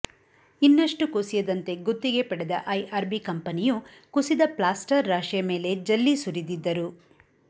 ಇನ್ನಷ್ಟು ಕುಸಿಯದಂತೆ ಗುತ್ತಿಗೆ ಪಡೆದ ಐಆರ್ಬಿ ಕಂಪನಿಯು ಕುಸಿದ ಪ್ಲಾಸ್ಟರ್ ರಾಶಿಯ ಮೇಲೆ ಜಲ್ಲಿ ಸುರಿದಿದ್ದರು